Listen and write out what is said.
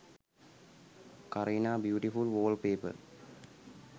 kareena beautiful wallpaper